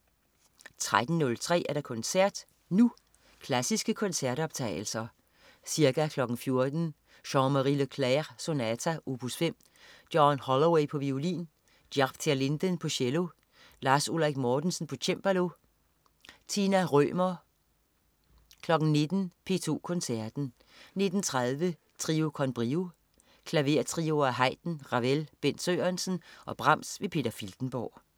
13.03 Koncert Nu. Klassiske koncertoptagelser. Ca. 14.00 Jean-Marie Leclair: Sonata, opus 5. John Hollaway, violin. Jaap ter Linden, cello. Lars Ulrik Mortensen, cembalo. Tina Rømer 19.00 P2 Koncerten. 19.30 Trio con Brio. Klavertrioer af Haydn, Ravel, Bent Sørensen og Brahms. Peter Filtenborg